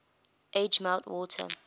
age melt water